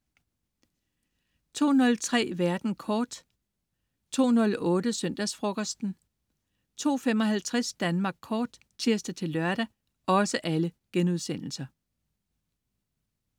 02.03 Verden kort* 02.08 Søndagsfrokosten* 02.55 Danmark Kort* (tirs-lør)